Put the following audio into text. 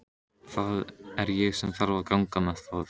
Það er ég sem þarf að ganga með það.